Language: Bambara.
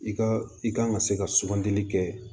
I ka i kan ka se ka sugandili kɛ